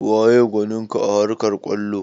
Waye gwanin ka a harkar kwallo?